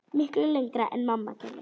Miklu lengra en mamma gerði.